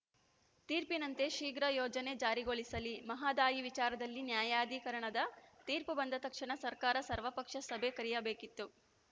ತೀರ್ಪಿನಂತೆ ಶೀಘ್ರ ಯೋಜನೆ ಜಾರಿಗೊಳಿಸಲಿ ಮಹದಾಯಿ ವಿಚಾರದಲ್ಲಿ ನ್ಯಾಯಾಧೀಕರಣದ ತೀರ್ಪು ಬಂದ ತಕ್ಷಣ ಸರ್ಕಾರ ಸರ್ವಪಕ್ಷ ಸಭೆ ಕರೆಯಬೇಕಿತ್ತು